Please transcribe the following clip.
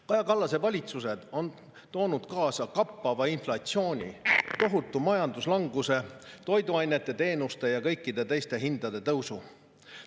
Kaja Kallase valitsused on toonud kaasa kappava inflatsiooni, tohutu majanduslanguse, toiduainete, teenuste ja kõikide teiste hindade tõusu.